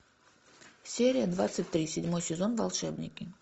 серия двадцать три седьмой сезон волшебники